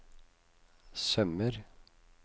sømmer